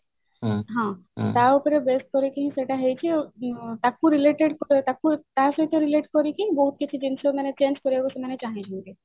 ହଁ ତା ଉପରେ base କରିକି ହିଁ ସେଇଟା ହେଇଛି ଆଉ ତାକୁ related ତା ସହିତ relate କରିକି ବହୁତ କିଛି ଜିନିଷ ମାନେ change କରିବାକୁ ସେମାନେ ଚାହିଁଛନ୍ତି